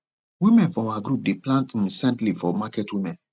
women for our group dey plant um scent leave for market women